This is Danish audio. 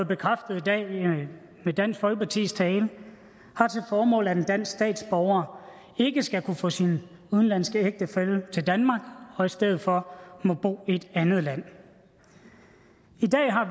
bekræftet i dag med dansk folkepartis tale har til formål at en dansk statsborger ikke skal kunne få sin udenlandske ægtefælle til danmark og i stedet for må bo i et andet land